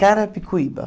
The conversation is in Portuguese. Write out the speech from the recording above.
Carapicuíba.